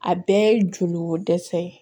A bɛɛ ye joli ko dɛsɛ ye